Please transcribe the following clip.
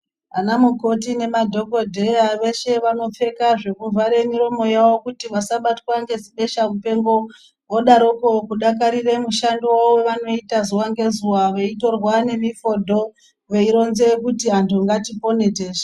Anamukoti nemadhokodheya, veshe vanopfeka zvinovare miromo yawo kuti vasabatwa ngezipeshampengo. Vodaroko kudakarire mushando, vanoyita zuva ngezuva, veyitorwa nemifodo, veyironze kuti antu ngatipone tese.